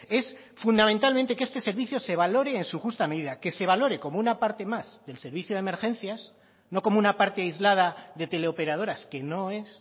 es fundamentalmente que este servicio se valore en su justa medida que se valore como una parte más del servicio de emergencias no como una parte aislada de teleoperadoras que no es